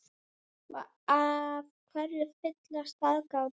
Og af hverju fyllsta aðgát?